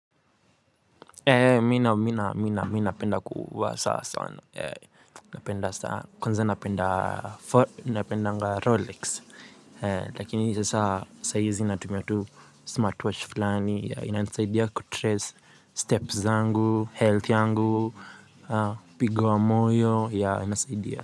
Eee, mina mina mina mina mina penda kuwa sana sana, napenda sana, kwanza napenda for, napenda nga Rolex. Lakini sasa saa hizi natumia tu smartwatch fulani, inasaidia kutrace steps zangu, health yangu, pigo wa moyo, ya inasaidia.